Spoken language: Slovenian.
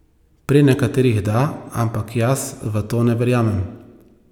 Pri nekaterih da, ampak jaz v to ne verjamem.